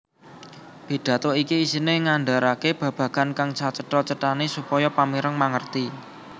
Pidhato iki isiné ngandharake babagan kang sacetha cethané supaya pamireng mangerti